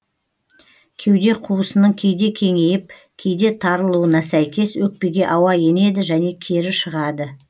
кеуде қуысының кейде кеңейіп кейде тарылуына сәйкес өкпеге ауа енеді және кері шығады